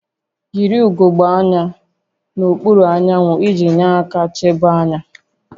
Yiri ugogbe anya n'okpuru anyanwụ iji nyere aka chebe anya